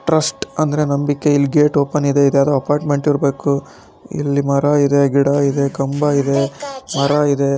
Trust ಅಂದ್ರೆ ನಂಬಿಕೆ ಇಲ್ಲಿ ಗೇಟ್ ಓಪನ್ ಇದೆ ಇದರ ಅಪಾರ್ಟಮೆಂಟ ಇರಬೆಕು ಇಲ್ಲಿ ಮರ ಇದೆ ಗಿಡ ಇದೆ ಕಂಬ ಇದೆ ಮರ ಇದೆ .